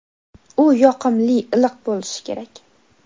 u yoqimli iliq bo‘lishi kerak.